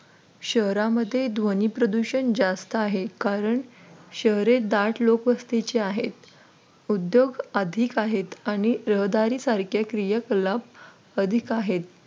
शहरामध्ये ध्वनी प्रदूषण जास्त आहे कारण शहरे दाट लोकवस्तीचे आहेत. उद्योग अधिक आहेत आणि रहदारी सारख्या क्रिया कलाप अधिक आहेत.